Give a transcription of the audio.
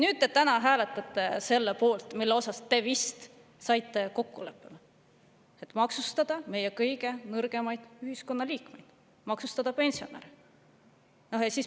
Nüüd te täna hääletate selle poolt, milles te vist saite kokkuleppele, et maksustada meie kõige nõrgemaid ühiskonnaliikmeid, maksustada pensionäre.